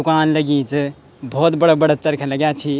दुकान लगीं च बहौत बड़ा-बड़ा चरखा लग्याँ छी।